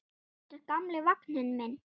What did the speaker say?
Þetta er gamli vagninn minn.